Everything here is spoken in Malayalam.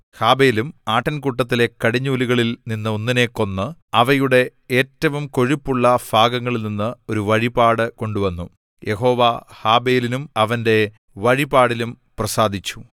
ഹാബെലും ആട്ടിൻകൂട്ടത്തിലെ കടിഞ്ഞൂലുകളിൽ നിന്ന് ഒന്നിനെ കൊന്ന് അവയുടെ ഏറ്റവും കൊഴുപ്പുള്ള ഭാഗങ്ങളിൽനിന്ന് ഒരു വഴിപാട് കൊണ്ടുവന്നു യഹോവ ഹാബെലിലും അവന്റെ വഴിപാടിലും പ്രസാദിച്ചു